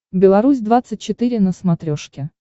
беларусь двадцать четыре на смотрешке